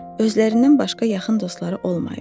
Özlərindən başqa yaxın dostları olmayıb.